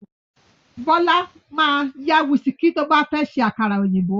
Bọ́lá ma yá wíìskì tó bá fẹ́ ṣe àkàrà òyìnbó